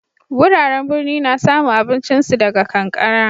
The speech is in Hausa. Wuraren birni na samu abincin su daga kankara.